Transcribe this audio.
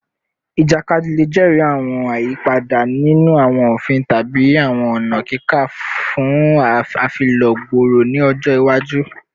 Ijakadi le jẹri awọn ayipada ninu awọn ofin tabi awọn ọna kika fun afilọ gbooro ni ọjọ iwaju